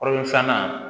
O filanan